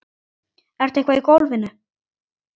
Ertu eitthvað í golfinu?